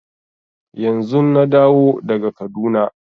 Yanzun na dawo daga Kaduna.